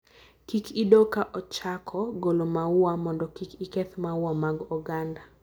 Kik idoo ka ochako golo maua mondo kik iketh maua mag oganda.